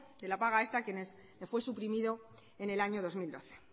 de la paga extra a quienes le fue suprimido en el año dos mil doce